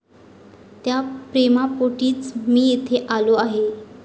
त्या प्रेमापोटीच मी इथे आलो आहे.